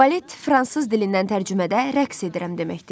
Balet fransız dilindən tərcümədə rəqs edirəm deməkdir.